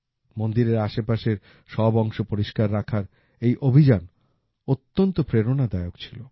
মন্দিরের আশেপাশের সব অংশ পরিষ্কার রাখার এই অভিযান অত্যন্ত প্রেরণাদায়ক ছিল